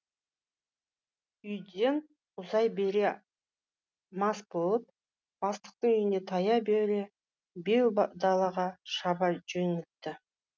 үйден ұзай бере мас болып бастықтың үйіне тая бере беу далаға шаба жөнелтті